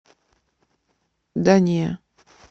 да не